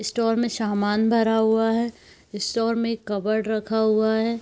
Store में सामान भरा हुआ है स्टोर में कबड रखा हुआ है।